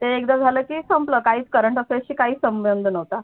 ते एकदा झालं की संपलं काही current affairs शी काहीच संबंध नव्हता